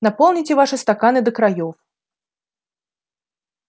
наполните ваши стаканы до краёв